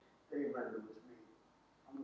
Búrma með kjarnakljúf